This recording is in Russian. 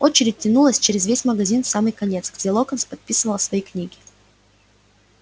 очередь тянулась через весь магазин в самый конец где локонс подписывал свои книги